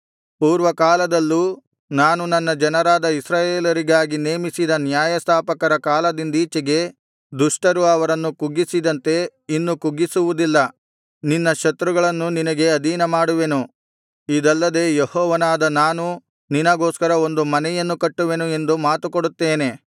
ಪೂರ್ವಕಾಲದಲ್ಲೂ ನಾನು ನನ್ನ ಜನರಾದ ಇಸ್ರಾಯೇಲರಿಗಾಗಿ ನೇಮಿಸಿದ ನ್ಯಾಯಸ್ಥಾಪಕರ ಕಾಲದಿಂದೀಚೆಗೆ ದುಷ್ಟರು ಅವರನ್ನು ಕುಗ್ಗಿಸಿದಂತೆ ಇನ್ನು ಕುಗ್ಗಿಸುವುದಿಲ್ಲ ನಿನ್ನ ಶತ್ರುಗಳನ್ನು ನಿನಗೆ ಅಧೀನಮಾಡುವೆನು ಇದಲ್ಲದೆ ಯೆಹೋವನಾದ ನಾನು ನಿನಗೋಸ್ಕರ ಒಂದು ಮನೆಯನ್ನು ಕಟ್ಟುವೆನು ಎಂದು ಮಾತುಕೊಡುತ್ತೇನೆ